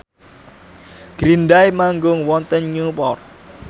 Green Day manggung wonten Newport